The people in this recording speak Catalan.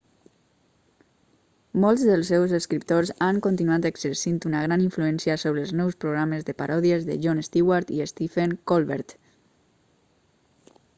molts dels seus escriptors han continuat exercint una gran influència sobre els nous programes de paròdies de jon stewart i stephen colbert